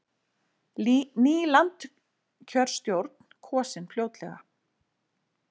Ný landskjörstjórn kosin fljótlega